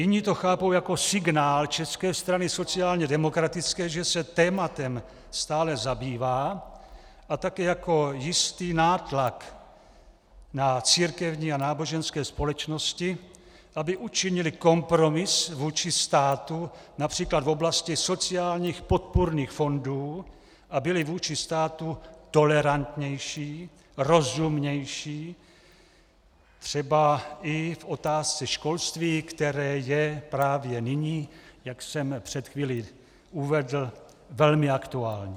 Jiní to chápou jako signál České strany sociálně demokratické, že se tématem stále zabývá, a taky jako jistý nátlak na církevní a náboženské společnosti, aby učinily kompromis vůči státu, například v oblasti sociálních podpůrných fondů, a byly vůči státu tolerantnější, rozumnější, třeba i v otázce školství, které je právě nyní, jak jsem před chvílí uvedl, velmi aktuální.